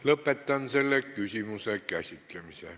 Lõpetan selle küsimuse käsitlemise.